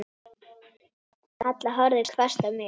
Halla horfði hvasst á mig.